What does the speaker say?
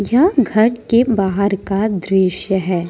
यह घर के बाहर का दृश्य है।